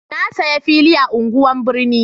na saya fili a unguwan birni